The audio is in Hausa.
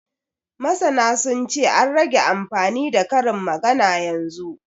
Masana sun ce, an rage amfani da karin magana yanzu